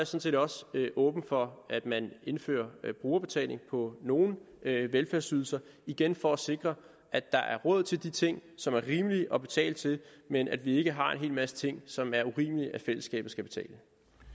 set også åben for at man indfører brugerbetaling på nogle velfærdsydelser igen for at sikre at der er råd til de ting som er rimelige at betale til men at vi ikke har en hel masse ting som det er urimeligt at fællesskabet skal betale